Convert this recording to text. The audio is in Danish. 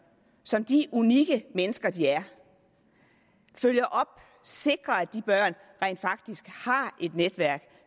som de unikke mennesker de er følger op og sikrer at de børn rent faktisk har et netværk